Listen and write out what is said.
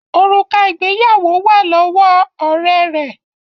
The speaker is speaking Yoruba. Òrùka ìgbéyàwó wá lọwọ Òré rẹ.